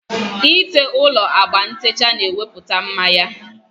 Ị te ụlọ agba ntecha na-ewepụta mma ya